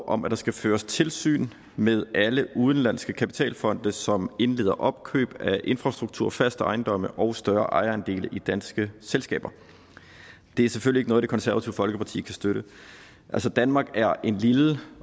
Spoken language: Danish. om at der skal føres tilsyn med alle udenlandske kapitalfonde som indleder opkøb af infrastruktur faste ejendomme og større ejerandele i danske selskaber det er selvfølgelig ikke noget det konservative folkeparti kan støtte altså danmark er en lille